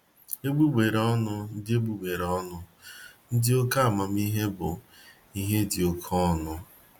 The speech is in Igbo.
Egbugbere ọnụ ndị Egbugbere ọnụ ndị oke amamihe bụ " ihe dị oke ọnụ "